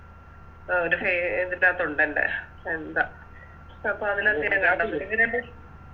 ആ ഒരു പേ ഇതിനത്തൊണ്ടൻറെ എന്താ